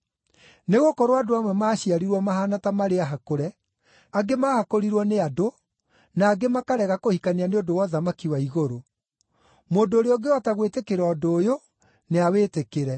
Nĩgũkorwo andũ amwe maaciarirwo mahaana ta marĩ ahakũre; angĩ maahakũrirwo nĩ andũ; na angĩ makarega kũhikania nĩ ũndũ wa ũthamaki wa igũrũ. Mũndũ ũrĩa ũngĩhota gwĩtĩkĩra ũndũ ũyũ, nĩawĩtĩkĩre.”